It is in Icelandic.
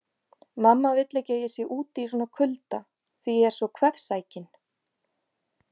Mamma vill ekki að ég sé úti í svona kulda því ég er svo kvefsækinn